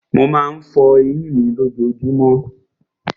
Mo má ń fọ eyín mi lójojúmọ́.